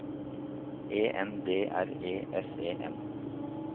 E N D R E S E N